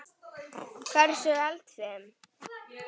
Hversu eldfim?